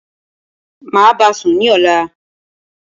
Máa báasùn ní ọ̀la